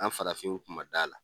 An farafinw kun man d'a la.